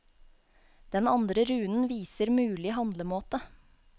Den andre runen viser mulig handlemåte.